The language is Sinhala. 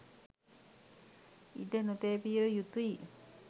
ඉඩ නොතැබිය යුතුයි.